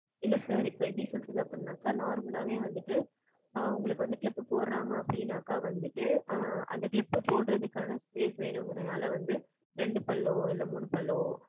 இல்லை sir, இப்ப எப்படி சொல்றது அப்படின்னாக்கா, normal லாவே வந்துட்டு, ஆ உங்களுக்கு வந்து clip போடுறாங்க அப்படின்னாக்கா வந்துட்டு, ஆ, அந்த clip போடுறதுக்கான space வேணுங்கிறதுனால வந்து, ரெண்டு பல்லோ, இல்லை மூணு பல்லோ,